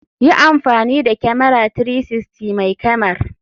Yi amfani da kyamara 360 mai kyamar.